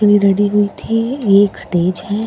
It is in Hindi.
ये रेडी हुई थी ये एक स्टेज हैं और --